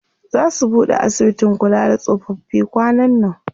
Zaa su buɗe asibitin kula da tsofaffi kwanan nan.